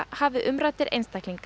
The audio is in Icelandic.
hafi umræddir einstaklingar